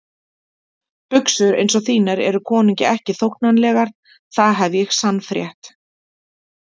Buxur eins og þínar eru konungi ekki þóknanlegar, það hef ég sannfrétt.